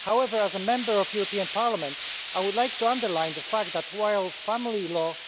However, as a Member of the European Parliament, I would like to underline the fact that, while family law